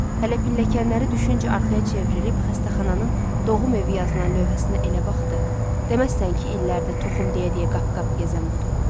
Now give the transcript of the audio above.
Hələ pilləkənləri düşüncə arxaya çevrilib xəstəxananın doğum evi yazılan lövhəsinə elə baxdı, deməzsən ki, illərdir toxum deyə-deyə qapı-qapı gəzən budur.